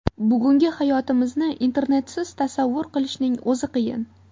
Bugungi hayotimizni Internetsiz tasavvur qilishning o‘zi qiyin.